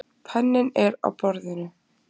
Penninn er á borðinu.